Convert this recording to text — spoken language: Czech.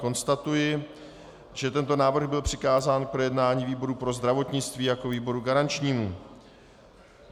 Konstatuji, že tento návrh byl přikázán k projednání výboru pro zdravotnictví jako výboru garančnímu.